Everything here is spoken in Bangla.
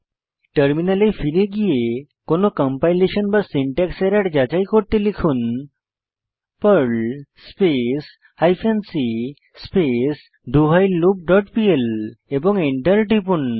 টার্মিনালে ফিরে গিয়ে কোনো কম্পাইলেশন বা সিনট্যাক্স এরর যাচাই করতে লিখুন Perl space hyphen c space do while loop dot PL এবং এন্টার টিপুন